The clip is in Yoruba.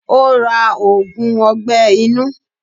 Ó ra ògùn ọgbẹ́ inú.